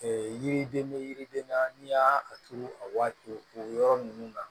yiriden bɛ yiriden na n'i y'a turu a waati o yɔrɔ ninnu na